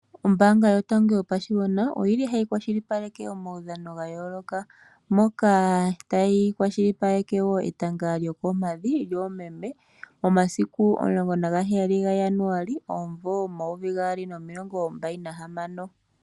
Ombaanga yotango yopashigwana oyi li hayi kwashilipaleke omaudhano ga yooloka moka tayi kwashilipaleke etanga lyokoompadhi lyoomeme omasiku 17 Januali 2026.